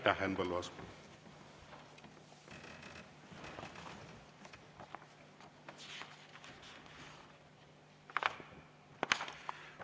Aitäh, Henn Põlluaas!